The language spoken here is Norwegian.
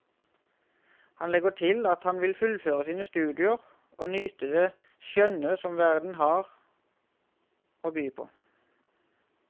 Han legger til at han vil fullføre sine studier og nyte det skjønne som verden også har å by på.